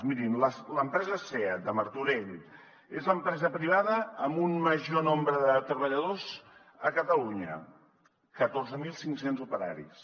mirin l’empresa seat de martorell és l’empresa privada amb un major nombre de treballadors a catalunya catorze mil cinc cents operaris